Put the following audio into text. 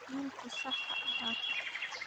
Wiilku sax ha ahaato